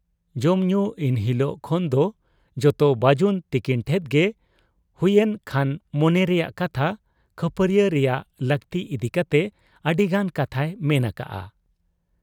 ᱡᱚᱢᱧᱩ ᱤᱱᱦᱤᱞᱚᱜ ᱠᱷᱚᱱᱫᱚ ᱡᱚᱛᱚ ᱵᱟᱹᱡᱩᱱ ᱛᱤᱠᱤᱱ ᱴᱷᱮᱫ ᱜᱮ ᱦᱩᱭᱮᱱ ᱠᱷᱟᱱ ᱢᱚᱱᱮ ᱨᱮᱭᱟᱝ ᱠᱟᱛᱷᱟ, ᱠᱷᱟᱹᱯᱟᱹᱨᱤᱭᱟᱹᱣᱜ ᱨᱮᱭᱟᱜ ᱞᱟᱹᱠᱛᱤ ᱤᱫᱤ ᱠᱟᱛᱮ ᱟᱹᱰᱤᱜᱟᱱ ᱠᱟᱛᱷᱟᱭ ᱢᱮᱱ ᱟᱠᱟᱜ ᱟ ᱾